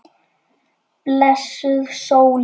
Blessuð sólin.